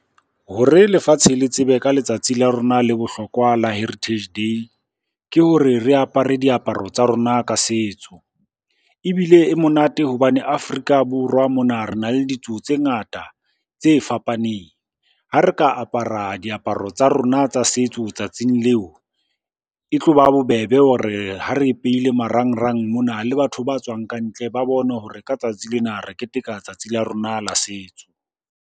Hore lefatshe le tsebe ka letsatsi la rona le bohlokwa la Heritage day, ke hore re apare diaparo tsa rona ka setso. Ebile e monate hobane Afrika Borwa mona re na le ditso tse ngata tse fapaneng. Ha re ka apara diaparo tsa rona tsa setso tsatsing leo, e tloba bobebe ho re ha re e peile marangrang mona le batho ba tswang kantle ba bone hore ka tsatsi lena re keteka tsatsi la rona la setso.